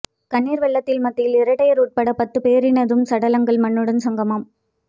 கண்ணீர் வெள்ளத்தின் மத்தியில் இரட்டையர் உட்பட பத்து பேரினதும் சடலங்கள் மண்ணுடன் சங்கமம்